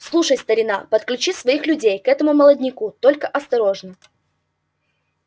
слушай старина подключи своих людей к этому молодняку только осторожно